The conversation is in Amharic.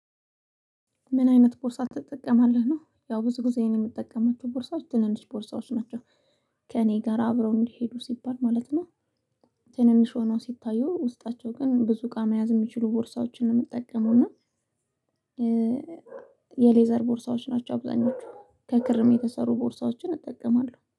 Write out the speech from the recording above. ምን አይነት ቦርሳ ትጠቀማለህ ነው? ያው ብዙ ጊዜ እኔ የምጠቀማቸው ቦርሳዎች ትንንሽ ቦርሳዎች ናቸው ከእኔ ጋር አብረው እንዲሄዱ ሲባል ማለት ነው። ትንንሽ ሆኖ ሲታዩ ውስጣቸው ግን ብዙ እቃ መያዝ የሚችሉ ቦርሳዎችን ነው የምጠቀመውእና። የሌዘር ቦርሳዎች ናቸው አብዛኞቹ ከክርም የተሰሩ ቦርሳዎችን እጠቀማለሁ